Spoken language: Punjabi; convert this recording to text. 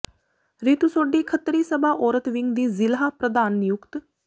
ਰੀਤੂ ਸੋਢੀ ਖੱਤਰੀ ਸਭਾ ਔਰਤ ਵਿੰਗ ਦੀ ਜ਼ਿਲ੍ਹਾ ਪ੍ਰਧਾਨ ਨਿਯੁਕਤ